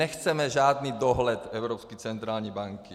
Nechceme žádný dohled Evropské centrální banky.